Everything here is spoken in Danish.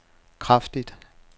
kraftigt